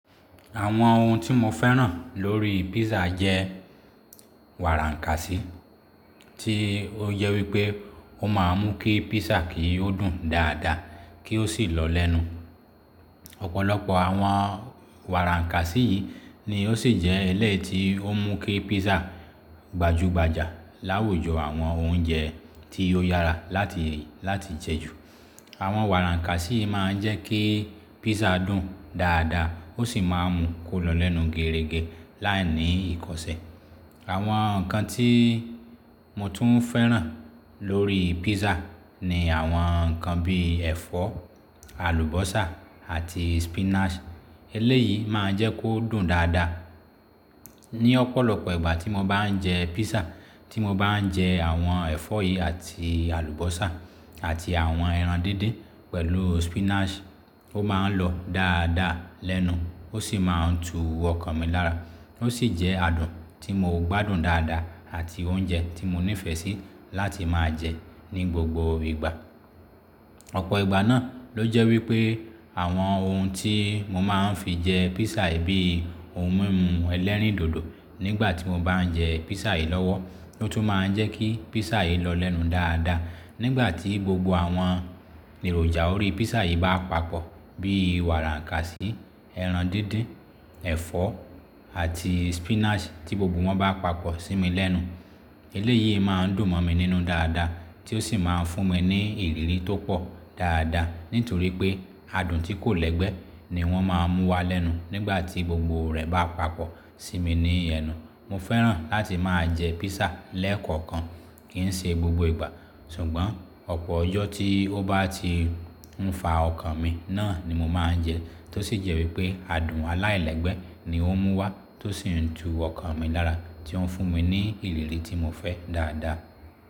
Àwọn ohun tí mo fẹ́ràn lórí pízà jẹ́ wàrànkàsí tí ó jẹ wípé ó máa ń mú kí písà kì í dùn dáadáa kí ó sì lọ lẹ́nu. Ọ̀pọ̀lọpọ̀ àwọn wàrànkàsí yìí ni ó sì jẹ́ ẹlẹ́ ti ó ń mú kí písà gbajúgbajà láwùjọ àwọn oúnjẹ tí ó yára láti, láti jẹ́ jù. Àwọn wàrànkàsí máa ń jẹ́ kí písà dùn dáadáa ó sì máa ń mú kó lọ lẹ́nu gẹrẹgẹ láìní ìkọsẹ́. Àwọn nǹkan tí mo tún fẹ́ràn lórí pízà ni àwọn nǹkan bí ẹ̀fọ́, àlùbọ́sà àti spinach eléyìí máa ń jẹ́ kó dùn dáadáa. Ni ọ̀pọ̀lọpọ̀ ìgbà tí mo bá ń jẹ pízà tí mo bá ń jẹ àwọn ẹ̀fọ́ yìí àti àlùbọ́sà àti àwọn ẹran díndín pẹ̀lú spinach ó máa ń lọ dáadáa lẹ́nu ó sì máa ń tu ọkàn mi lára. Ó sì jẹ́ adùn tí mo gbádùn dáadáa àti oúnjẹ tí mo nífẹ̀ẹ́ sí láti máa jẹ ní gbogbo ìgbà. Ọ̀pọ̀ ìgbà náà ló jẹ́ wípé àwọn ohun tí mo máa ń fi jẹ písà yi bíi ohun mímu ẹlẹ́rìndòdò nígbà tí mo bá ń jẹ pízà yìí lọ́wọ́ ló tún máa ń jẹ́ kí pízà yìí lọ lẹ́nu dáadáa. Nígbà tí gbogbo àwọn èròjà orí písà yìí bá papọ̀ bí wàràkàsí, ẹran díndín, ẹ̀fọ́ àti spinach tí gbogbo wọn bá papọ̀ sí mi lẹ́nu eléyìí máa ń dùn mọ̀ mi nínú dáadáa tí ó sì máa ń fún mi ní ìrírí tó pọ̀ dáadáa nítorí pé adùn tí kò lẹ́gbẹ́ ni wọ́n máa ń mú wá lẹ́nu nígbà tí gbogbo rẹ̀ bá papọ̀ sí mi ní ẹnu. Mo fẹ́ràn láti máa jẹ písà lẹ́ẹ̀kọ̀kan kì í ṣe gbogbo ìgbà ṣùgbọ́n ọ̀pọ̀ ọjọ́ tí ó bá ti ń fa ọkàn mi náà ni mo máa ń jẹ ẹ tó sì jẹ́ wípé adùn aláìlẹ́gbẹ́ ni ó ń mú wá tó sì ń tu ọkàn mi lára tí ó ń fún mi ní ìrírí tí mo fẹ́ dáadáa.